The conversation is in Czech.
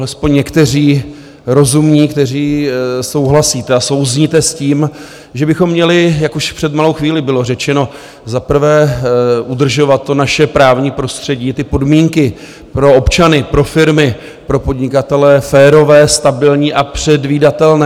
Alespoň někteří rozumní, kteří souhlasíte a souzníte s tím, že bychom měli, jak už před malou chvíli bylo řečeno, za prvé udržovat to naše právní prostředí, ty podmínky pro občany, pro firmy, pro podnikatele férové, stabilní a předvídatelné.